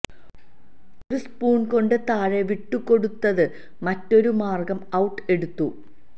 ഒരു സ്പൂൺ കൊണ്ട് താഴെ വിട്ടുകൊടുത്തത് മറ്റൊരു മാർഗം ഔട്ട് എടുത്തു